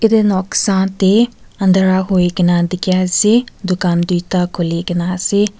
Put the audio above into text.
itu noksa tey andhara hui kena dikhi ase dukan duita khuli kena ase.